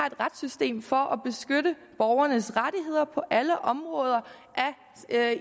et retssystem for at beskytte borgernes rettigheder på alle områder